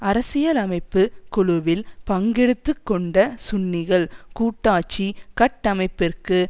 அரசியலமைப்பு குழுவில் பங்கெடுத்து கொண்ட சுன்னிகள் கூட்டாட்சி கட்டமைப்பிற்கு